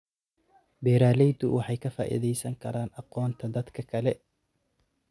Beeraleydu waxay ka faa'iidaysan karaan aqoonta dadka kale.